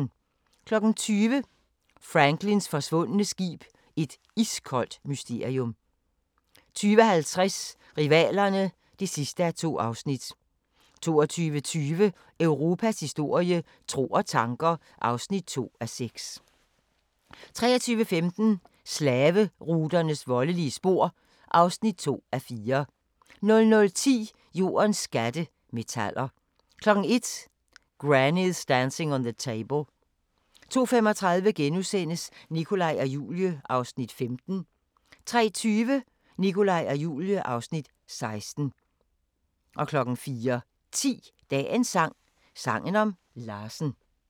20:00: Franklins forsvundne skib – et iskoldt mysterium 20:50: Rivalerne (2:2) 22:20: Europas historie – tro og tanker (2:6) 23:15: Slaveruternes voldelige spor (2:4) 00:10: Jordens skatte – metaller 01:00: Granny's Dancing on the Table 02:35: Nikolaj og Julie (Afs. 15)* 03:20: Nikolaj og Julie (Afs. 16) 04:10: Dagens sang: Sangen om Larsen *